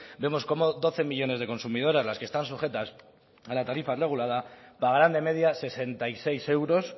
vemos como doce millónes de consumidoras las que están sujetas a la tarifa regulada pagaran de media sesenta y seis euros